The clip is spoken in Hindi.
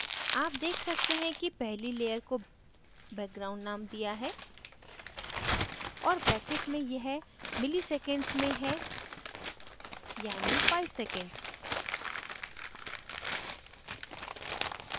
आप देख सकते हैं कि पहली layer को background named दिया है और bracket में यह milliseconds में है यानी 5 seconds